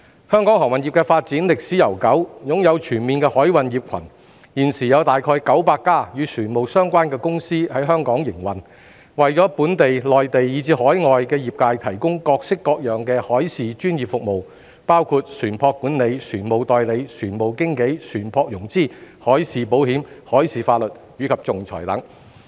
香港航運業的發展歷史悠久，擁有全面的海運業群，現時有大約900家與船務相關的公司在香港營運，為本地、內地，以至海外業界提供各式各樣的海事專業服務，包括船舶管理、船務代理、船務經紀、船舶融資、海事保險、海事法律及仲裁等。